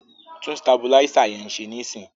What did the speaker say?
Tún sabuláísà yẹn ṣe níìsín!